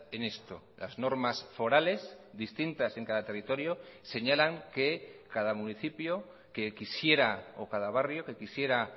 en esto las normas forales distintas en cada territorio señalan que cada municipio que quisiera o cada barrio que quisiera